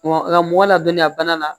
Wa mɔgɔ ladɔnniya bana la